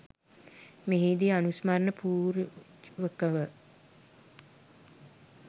මෙහිදී අනුස්මරණ පූර්වකව